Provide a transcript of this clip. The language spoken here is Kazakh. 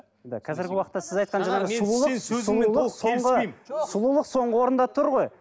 қазіргі уақытта сіз айтқан жаңағы сұлулық сұлулық соңғы сұлулық соңғы орында тұр ғой